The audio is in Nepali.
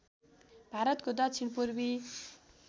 भारतको दक्षिण पूर्वी